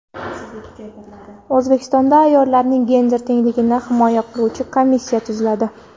O‘zbekistonda ayollarning gender tengligini himoya qiluvchi komissiya tuziladi.